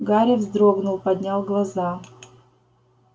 гарри вздрогнул поднял глаза